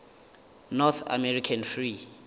north american free